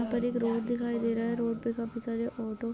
यहाँ पर एक रोड दिखाई दे रहा है रोड पे काफी सारे ऑटो --